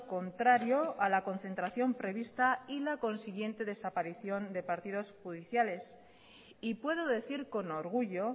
contrario a la concentración prevista y la consiguiente desaparición de partidos judiciales y puedo decir con orgullo